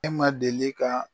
E ma deli ka